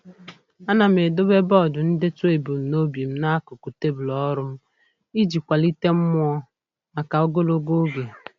A na m edobe bọọdụ ndetu ebumnobi m n'akụkụ tebụl ọrụ m iji kwalite mmụọ maka ogologo oge.